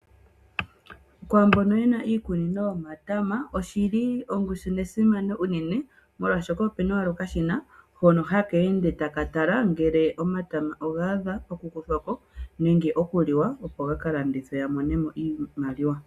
Kwaambono yina iikunino yomatama oshili ongushu nesimano molwaashoka , okashina hono haka ende taka tala ngele omatama oga adha okukolwako nenge okuliwa opo gaka landithwe, aantu yamonemo iimaliwa.